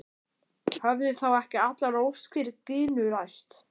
Höfðu þá ekki allar óskir Gínu ræst?